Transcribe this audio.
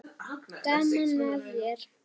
Gaman að þér!